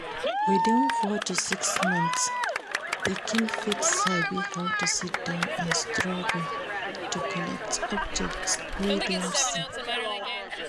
Within four to six months pikin fit sabi how to sit-down and struggle to collect objects wey dem see